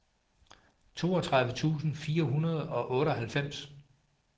toogtredive tusind fire hundrede og otteoghalvfems